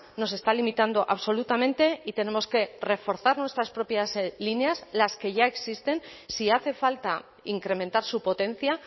nos está limitando absolutamente y tenemos que reforzar nuestras propias líneas las que ya existen si hace falta incrementar su potencia